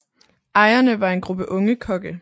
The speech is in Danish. Ejerne var en gruppe unge kokke